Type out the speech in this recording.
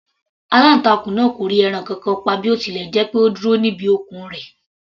Aláǹtakùn náà kò rí ẹran kankan pa bí ó tilẹ̀ jẹ́ pé ó dúró níbi okùn rẹ̀.